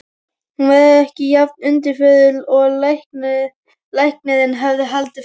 Hún var ekki jafn undirförul og læknirinn hafði haldið fram.